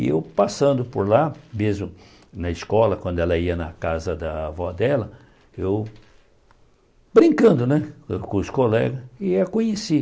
E eu passando por lá, mesmo na escola, quando ela ia na casa da avó dela, eu, brincando né com os colegas, e a conheci.